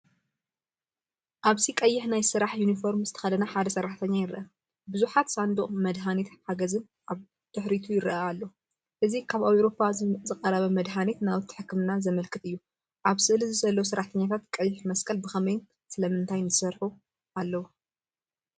ኣብዚ ቀይሕ ናይ ስራሕ ዩኒፎርም ዝተከደነ ሓደ ሰራሕተኛ ይርአ። ብዙሓት ሳንዱቕ መድሃኒትን ሓገዝን ኣብ ደሕሪቱ ይረአ ኣሎ። እዚ ካብ ኤውሮጳ ዝቐረብ መድሃኒትን ናውቲ ሕክምናን ዘምልክት እዩ። ኣብ ስእሊ ዘሎ ሰራሕተኛታት ቀይሕ መስቀል ብኸመይን ስለምንታይን ይሰርሑ ኣለዉ?